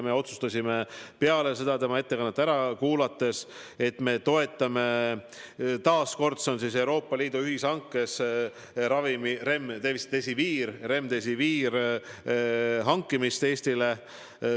Me otsustasime peale tema ettekannet, et me toetame taas Euroopa Liidu ühishankes ravimi Remdesivir hankimist Eestile.